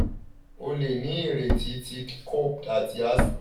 o le ni ireti ti copd ati asthma (ọkàn-ara si awọ-ara-ẹyẹ)